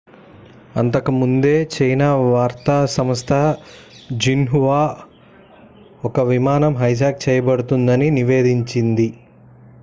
అంతకు ముందే చైనా వార్తా సంస్థ జిన్హువా ఒక విమానం హైజాక్ చేయబడుతుందని నివేదించింది